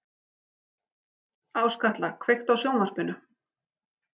Áskatla, kveiktu á sjónvarpinu.